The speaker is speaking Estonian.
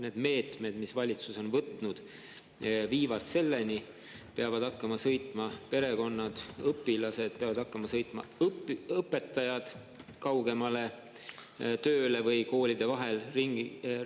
Need meetmed, mille valitsus on võtnud, viivad selleni, et perekonnad, õpilased peavad hakkama sõitma kaugemale ja õpetajad peavad hakkama sõitma kaugemale tööle või koolide vahel ringi sõitma.